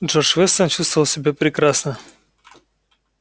джордж вестон чувствовал себя прекрасно